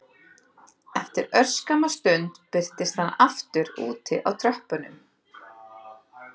Eftir örskamma stund birtist hann aftur úti á tröppunum